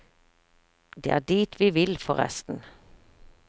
Det er dit vi vil, forresten.